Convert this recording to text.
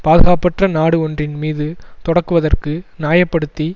பாதுகாப்பற்ற நாடு ஒன்றின் மீது தொடக்குவதற்கு நியாய படுத்தி